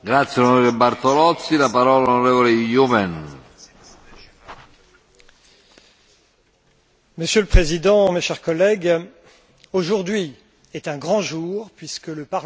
Monsieur le Président, mes chers collègues, aujourd'hui est un grand jour puisque le Parlement européen vient d'exprimer sa volonté de créer un corps européen de protection civile.